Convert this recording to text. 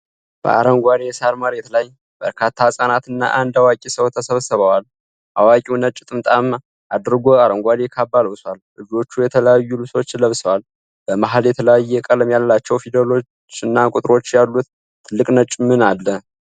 በአረንጓዴ የሳር መሬት ላይ በርካታ ህጻናት እና አንድ አዋቂ ሰው ተሰብስበዋል። አዋቂው ነጭ ጥምጥም አድርጎ አረንጓዴ ካባ ለብሷል። ልጆቹ የተለያዩ ልብሶችን ለብሰዋል። በመሃል የተለያየ ቀለም ያላቸው ፊደሎችና ቁጥሮች ያሉት ትልቅ ነጭ ምን አለ?